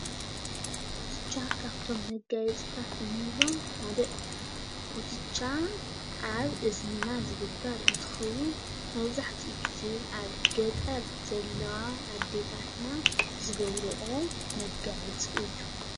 ኩትቻ ካብቶም መጋየፂታት እንብሎም ሓደ እዩ። ኩትቻ ኣብ እዝንና ዝግበር እንትኸውን መብዛሕቲኡ ግዜ ኣብ ገጠር ዘለዋ ኣዴታትና ዝገብርኦ መጋየፂ እዩ።